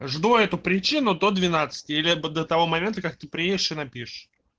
жду эту причину до двенадцати либо до того момента как ты приедешь и напишешь